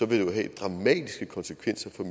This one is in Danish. det jo have dramatiske konsekvenser for